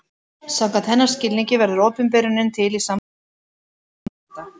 Samkvæmt hennar skilningi verður opinberunin til í samtalinu milli texta og lesanda.